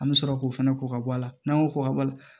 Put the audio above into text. An bɛ sɔrɔ k'o fɛnɛ kɔ ka bɔ a la n'an y'o ko ka